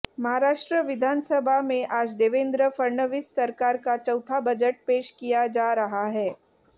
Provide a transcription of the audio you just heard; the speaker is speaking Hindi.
महाराष्ट्र विधानसभा में आज देवेन्द्र फडणवीस सरकार का चौथा बजट पेश किया जा रहा है